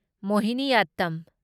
ꯃꯣꯍꯤꯅꯤꯌꯥꯠꯇꯝ